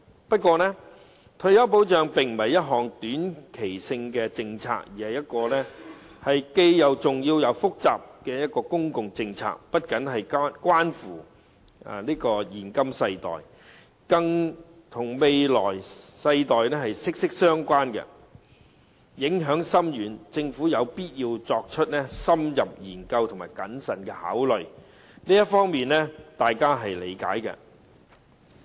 不過，退休保障並非一項短期政策，而是既重要又複雜的公共政策，不僅關乎現今世代，更與未來世代息息相關，影響深遠，政府有必要作出深入研究和謹慎考慮，這方面大家是理解的。